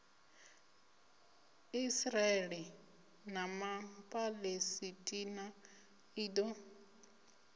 israele na ma palesitina ḽido